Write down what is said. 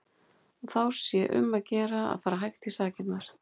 Og þá sé um að gera að fara hægt í sakirnar.